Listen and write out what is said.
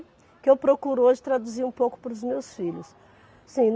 Que eu procuro hoje traduzir um pouco para os meus filhos. Assim